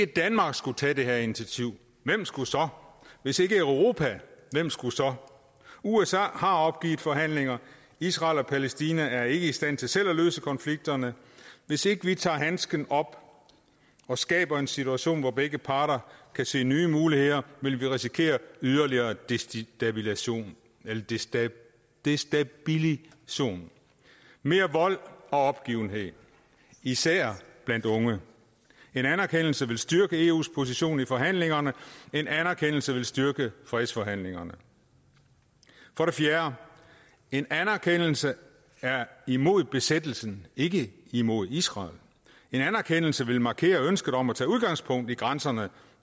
danmark skulle tage det her initiativ hvem skulle så hvis ikke europa hvem skulle så usa har opgivet forhandlingerne israel og palæstina er ikke i stand til selv at løse konflikterne hvis ikke vi tager handsken op og skaber en situation hvor begge parter kan se nye muligheder vil vi risikere yderligere destabilisering destabilisering mere vold og opgivelse især blandt unge en anerkendelse vil styrke eus position i forhandlingerne en anerkendelse vil styrke fredsforhandlingerne for det fjerde en anerkendelse er imod besættelsen ikke imod israel en anerkendelse vil markere ønsket om at tage udgangspunkt i grænserne